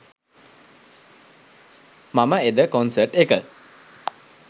මම එද කොන්සර්ට් එක